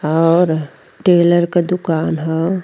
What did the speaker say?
और टेलर क दुकान ह।